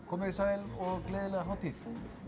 komið þið sæl og gleðilega hátíð